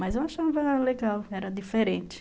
Mas eu achava legal, era diferente.